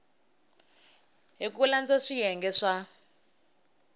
hi ku landza swiyenge swa